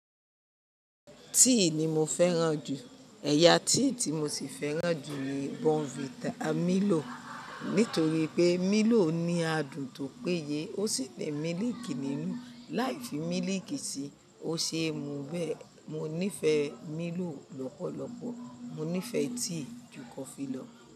Tíì ni mo fẹ́ràn jù. Ẹ̀yà tíì tí mo ti fẹ́ràn jù ni Bonvita Milo. Nítorí pé Milo ní adùn tó péye, ó sì ní mílíìkì nínú. Láì fi mílíìkì sí i, ó ṣe é mu bẹ́ẹ̀. Mo nífẹ̀ẹ́ Milo lọ́pọ̀lọpọ̀. Mo nífẹ̀ẹ́ tíì jù kọ́fi lọ́.